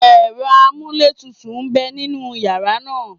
Ẹ̀rọ amúlétutù ń bẹ nínú yàrá náà